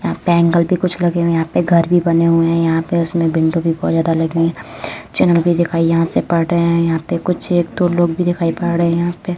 यहाँ पे एंगल भी कुछ बने हुए हैं। यहाँ पे घर भी बने हुए हैं। यहाँ पे उसमें विंडो भी बहोत ज्यादा लगी हुई। जनम भी दिखाई यहाँ से पड़ रहे हैं। यहाँ पे कुछ एक दो लोग भी दिखाई पड़ रहे हैं। यहाँ पे --